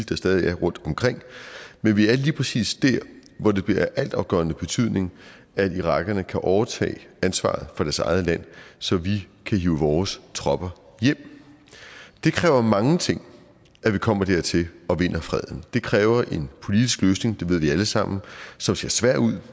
der stadig er rundt omkring men vi er lige præcis dér hvor det bliver af altafgørende betydning at irakerne kan overtage ansvaret for deres eget land så vi kan hive vores tropper hjem det kræver mange ting at vi kommer dertil og vinder freden det kræver en politisk løsning det ved vi alle sammen som ser svær ud